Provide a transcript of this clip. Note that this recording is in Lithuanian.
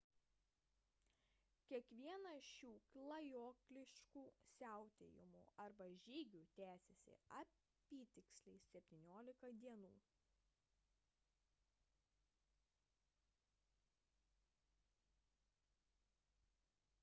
kiekvienas iš šių klajokliškų siautėjimų arba žygių tęsiasi apytiksliai 17 dienų